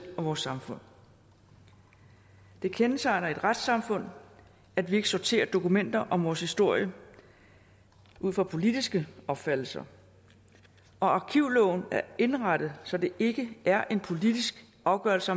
og vores samfund det kendetegner et retssamfund at vi ikke sorterer dokumenter om vores historie ud fra politiske opfattelser og arkivloven er indrettet så det ikke er en politisk afgørelse